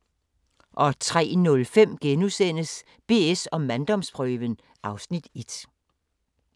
03:05: BS & manddomsprøven (Afs. 1)*